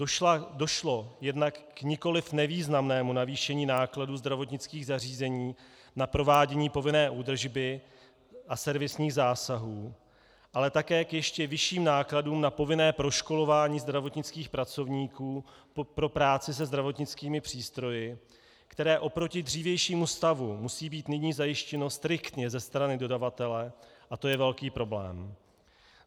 Došlo jednak k nikoli nevýznamnému navýšení nákladů zdravotnických zařízení na provádění povinné údržby a servisních zásahů, ale také k ještě vyšším nákladům na povinné proškolování zdravotnických pracovníků pro práci se zdravotnickými přístroji, které oproti dřívějšímu stavu musí být nyní zajištěno striktně ze strany dodavatele - a to je velký problém.